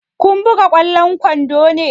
Kun buga ƙwallon kwando ne?